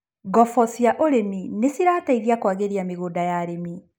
Ngobo cia ũrĩmi nĩcirateithia kwagĩria mĩgũnda ya arĩmi.